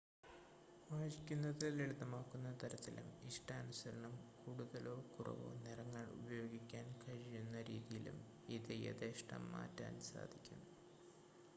വായിക്കുന്നത് ലളിതമാക്കുന്ന തരത്തിലും ഇഷ്ടാനുസരണം കൂടുതലോ കുറവോ നിറങ്ങൾ ഉപയോഗിക്കാൻ കഴിയുന്ന രീതിയിലും ഇത് യഥേഷ്ടം മാറ്റാൻ സാധിക്കും